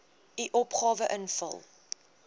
u opgawe invul